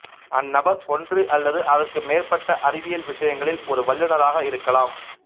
அந்நபர் ஒன்று அல்லது அதற்கு மேற்பட்ட அறிவியல் விஷயங்களில் ஒரு வல்லுனராக இருக்கலாம்